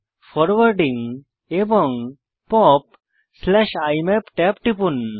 forwarding এবং POP IMAP ট্যাবে টিপুন